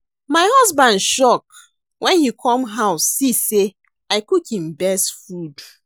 My husband shock wen he come house see say I cook im best food